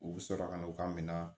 U bɛ sɔrɔ ka n'u ka minɛn